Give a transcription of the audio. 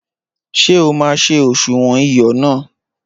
Ṣé o ma ṣé òṣùwọ̀n iyọ náà?